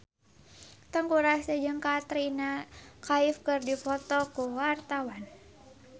Teuku Rassya jeung Katrina Kaif keur dipoto ku wartawan